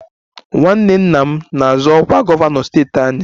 Nwanne nna m na-azọ ọkwa gọvanọ steeti anyị